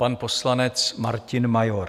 Pan poslanec Martin Major.